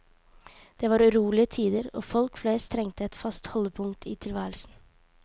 Det var urolige tider, og folk flest trengte et fast holdepunkt i tilværelsen.